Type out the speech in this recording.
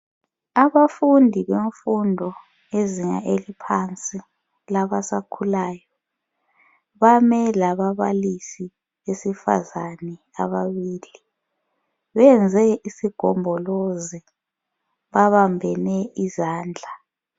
Abafundi bemfundo yezinga eliphansi labasakhulayo, bame lababalisi besifazane ababili benze isigombolozi babambene izandla.